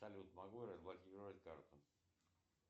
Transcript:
салют могу я разблокировать карту